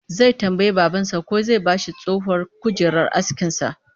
Zai tambayi babansa ko zai ba shi tsohuwar kujerar askinsa